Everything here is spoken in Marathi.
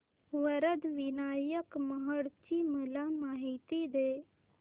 वरद विनायक महड ची मला माहिती दे